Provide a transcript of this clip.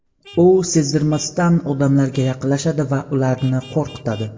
U sezdirmasdan odamlarga yaqinlashadi va ularni qo‘rqitadi.